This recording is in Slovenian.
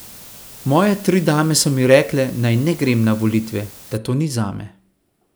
Moje tri dame so mi rekle, naj ne grem na volitve, da to ni zame.